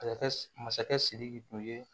masakɛ sidiki tun ye